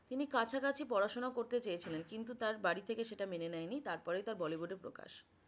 তিনি কাছাকাছি পড়াশোনা করতে চেয়েছিলেন কিন্তু তার বাড়ি থেকে সেটা মেনে নেয়নি তাঁর পরেই তার bollywood এ প্রকাশ।